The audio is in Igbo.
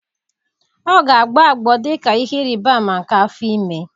Ọ ga-agbọ agbọọ dị ka ihe ịrịba ama nke afọ ime